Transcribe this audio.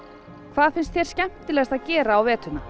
hvað finnst þér skemmtilegast að gera á veturna